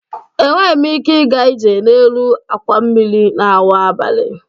Enweghị m ike ịga ije n'elu àkwà mmiri n'awa abalị